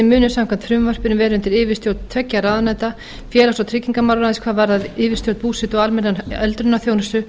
munu samkvæmt frumvarpinu vera undir yfirstjórn tveggja ráðuneyta félags og tryggingamálaráðuneytis hvað varðar yfirstjórn búsetu og almennrar öldrunarþjónustu